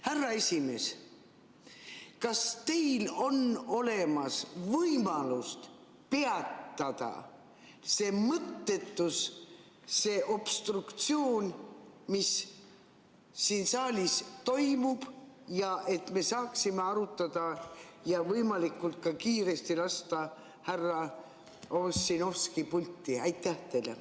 Härra esimees, kas teil on võimalust peatada see mõttetus, see obstruktsioon, mis siin saalis toimub, et me saaksime arutada ja võimalikult kiiresti lasta härra Ossinovski pulti?